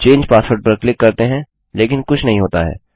चंगे password पर click करते हैं लेकिन कुछ नहीं होता है